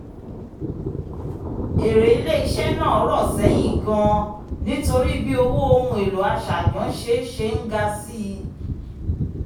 èrè ilé-iṣẹ́ náà rọ̀ sẹ́yìn gan-an nítorí bí owó ohun èlò aṣàjánṣe ṣe ń ga síi